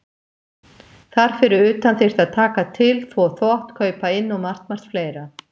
Þar fyrir utan þyrfti að taka til, þvo þvott, kaupa inn og margt, margt fleira.